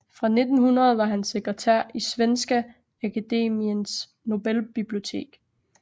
Fra 1900 var han sekretær i Svenska Akademiens Nobelbibliotek